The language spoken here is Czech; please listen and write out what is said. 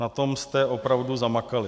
Na tom jste opravdu zamakali.